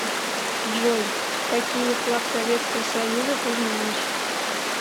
джой какие флаг советского союза ты знаешь